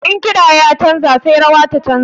In kiɗa ya canja sai rawa ta canja.